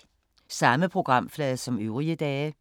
Samme programflade som øvrige dage